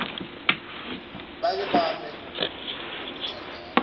bake bame ukuthandana